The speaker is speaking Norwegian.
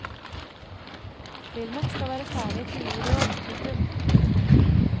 Filmen skal være ferdig til jul i år. punktum